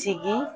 Sigi